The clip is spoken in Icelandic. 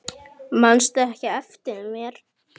Manstu ekki eftir mér?